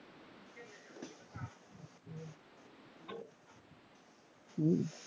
উম